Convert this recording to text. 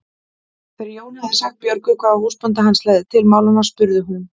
Þegar Jón hafði sagt Björgu hvað húsbóndi hans legði til málanna spurði hún